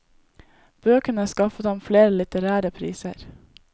Bøkene skaffet ham flere litterære priser.